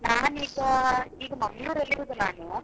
ನಾನ್ ಈಗಾ ಈಗ Mangalore ಅಲ್ಲಿ ಇರುದು ನಾನು.